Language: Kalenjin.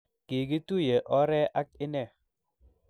kikituye ore ak inne.